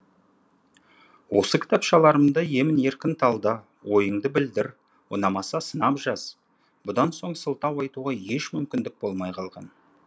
осы кітапшаларды емін еркін талда ойыңды білдір ұнамаса сынап жаз бұдан соң сылтау айтуға еш мүмкіндік болмай қалған